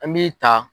An b'i ta